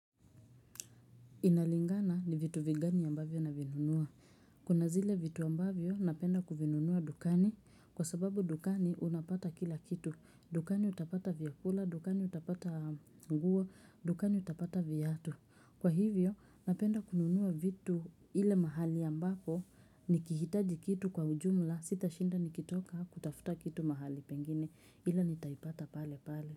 Inalingana ni vitu vigani ambavyo navinunua. Kuna zile vitu ambavyo napenda kuvinunua dukani kwa sababu dukani unapata kila kitu. Dukani utapata vyakula, dukani utapata nguo, dukani utapata viatu. Kwa hivyo napenda kununua vitu ile mahali ambapo nikihitaji kitu kwa ujumla sitashinda nikitoka kutafuta kitu mahali pengine ila nitaipata pale pale.